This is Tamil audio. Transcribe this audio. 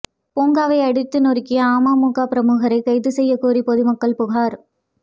பூங்காவை அடித்து நொறுக்கிய அமமுக பிரமுகரை கைது செய்யக்கோரி பொதுமக்கள் புகாா்